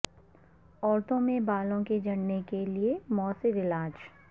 عورتوں میں بالوں کے جھڑنے کے لئے موثر علاج